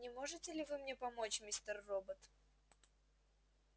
не можете ли вы мне помочь мистер робот